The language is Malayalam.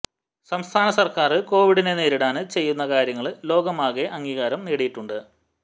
സംസ്ഥാന സര്ക്കാര് കോവിഡിനെ നേരിടാന് ചെയ്യുന്ന കാര്യങ്ങള് ലോകമാകെ അംഗീകാരം നേടിയിട്ടിട്ടുണ്ട്